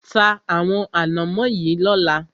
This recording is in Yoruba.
Ta àwọn ànámọ́ yìí lọ́la!